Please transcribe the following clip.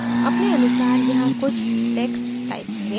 अपने अनुसार यहाँ कुछ text type करें